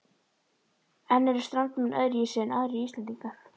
En eru Strandamenn öðruvísi en aðrir Íslendingar?